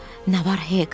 Nə var, Hek?